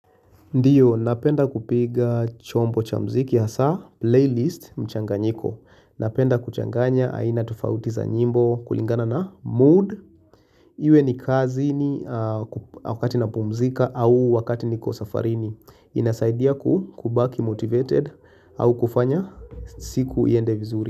Ndiyo, napenda kupiga chombo cha mziki hasaa, playlist mchanganyiko. Napenda kuchanganya, haina tufautiza nyimbo kulingana na mood. Iwe ni kazini wakati napumzika au wakati niko safarini. Inasaidia kubaki motivated au kufanya siku iende vizuri.